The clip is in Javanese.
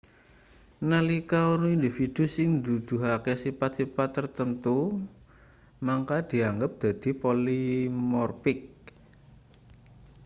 nalika ana individu sing nuduhake sipat-sipat tartamtu mangka dianggep dadi polimorpik